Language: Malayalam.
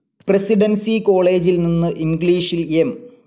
പ്രസിഡൻസി കോളേജിൽ നിന്ന് ഇംഗ്ളീഷിൽ എം.